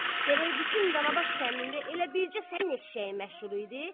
Gərək bütün Danabaş kəndində elə bircə sənin eşşəyin məşhur idi?